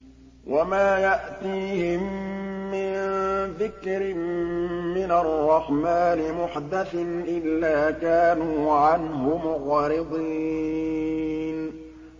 وَمَا يَأْتِيهِم مِّن ذِكْرٍ مِّنَ الرَّحْمَٰنِ مُحْدَثٍ إِلَّا كَانُوا عَنْهُ مُعْرِضِينَ